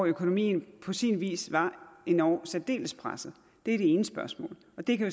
økonomien på sin vis var endog særdeles presset det er det ene spørgsmål og det kan